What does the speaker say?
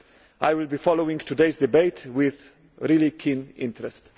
I will be following today's debate with very keen interest.